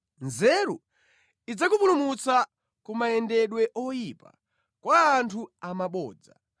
Nzeru idzakupulumutsa ku mayendedwe oyipa, kwa anthu amabodza,